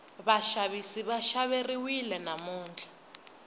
vaxavisi va xaveriwile namuntlha